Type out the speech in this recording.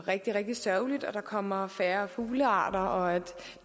rigtig rigtig sørgeligt at der kommer færre fuglearter og at